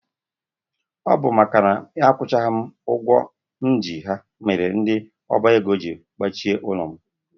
Ọ bụ makana a kwụchaghị m ụgwọ m ji ha mere ndị ọba ego jiri gbachie ụlọ m.